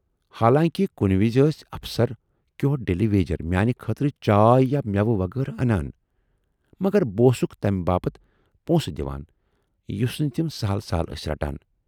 حالانکہِ کُنہِ وِزِ ٲسۍ افسر کٮ۪و ڈیلی ویجر میانہِ خٲطرٕ چائے یا مٮ۪وٕ وغٲرٕ اَنان، مگر بہٕ اوسکھ تمہِ باپتھ پونسہٕ دِوان یُس نہٕ تِم سہٕل سہٕل ٲسۍ رٹان۔